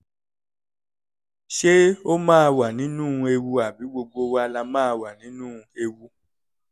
ṣé ó máa wà nínú ewu àbí gbogbo wa la máa wà nínú ewu